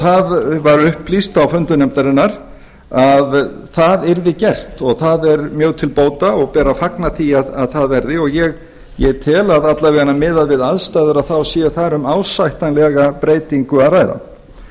það var upplýst á fundi nefndarinnar að það yrði gert og það er mjög til bóta og ber að fagna því að það verði ég tel að alla vega miðað við aðstæður sé þar um ásættanlega breytingu að